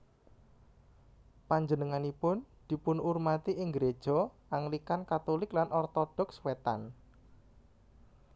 Panjenenganipun dipunurmati ing gréja Anglikan Katulik lan Ortodoks Wétan